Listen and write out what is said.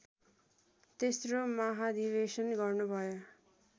तेस्रो महाधिवेशन गर्नुभयो